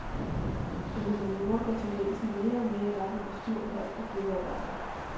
På humaniora går tendensen mere og mere i retning af små hold og gruppearbejde.